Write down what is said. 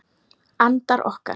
Andar okkar!